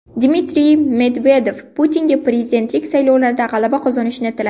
Dmitriy Medvedev Putinga prezidentlik saylovlarida g‘alaba qozonishini tiladi.